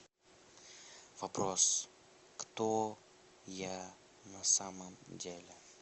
вопрос кто я на самом деле